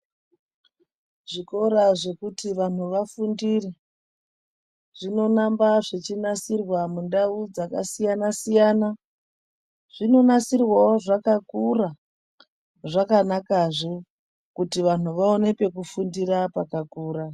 Zvikora zvekuti vanhu vafundire zvinoramba zvechinasirwa mundau dzakasiyanasiyana zvinonasirwawo zvakakura zvakanazve kuti vanhu vaone pekufundira pakakura.